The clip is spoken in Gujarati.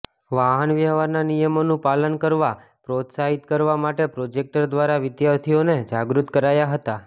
વાહનવ્યવહારના નિયમોનું પાલન કરવા પ્રોત્સાહિત કરવા માટે પ્રોજેક્ટર દ્વારા વિદ્યાર્થીઓને જાગૃત કરાયા હતા